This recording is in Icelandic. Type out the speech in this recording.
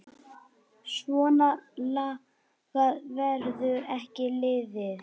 Svona lagað verður ekki liðið.